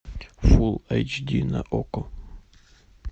фул эйч ди на окко